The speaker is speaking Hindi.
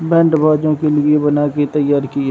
बैंड बाजों के लिए बनाके तैयार की यै।